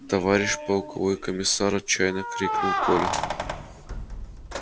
товарищ полковой комиссар отчаянно крикнул коля